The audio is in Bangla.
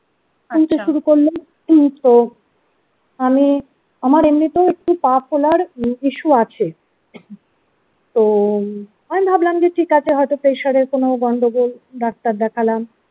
আহ ফুলতে শুরু করল তো আমি আমার এমনিতেও একটু popular issue আছে তো আমি ভাবলাম যে ঠিক আছে হয়তো pressure এর কোনো গন্ডগোল ডাক্তার দেখালম।